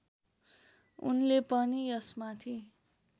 उनले पनि यसमाथि